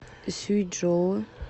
сюйчжоу